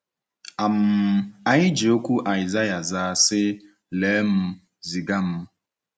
um Anyị ji okwu Aịsaịa zaa, sị: “Lee m, ziga m.”